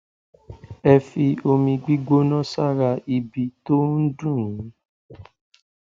ẹ fi omi gbígbóná sára ibi tó ń dùn yín